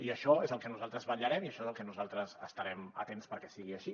i això és el que nosaltres vetllarem i això és al que nosaltres estarem atents perquè sigui així